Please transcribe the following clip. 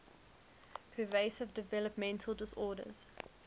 pervasive developmental disorders